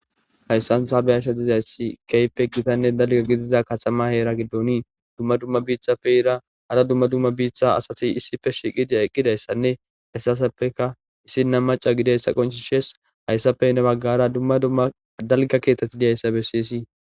Hayssan haabe asha dizayssi keype gitanne dalgo gidiza kaxama heera giddonii dumma dumma biithappe ira hara dumma dumma biitha asati issife shiiqidiya eqqidayssanne hessaseppeka issinna maca gideyssa qonchi shees hayssapeynne baggara dumma dumma dalga keetetti diyayssa bessiysii.